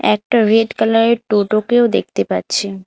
একটা রেড কালারের টোটোকেও দেখতে পাচ্ছি।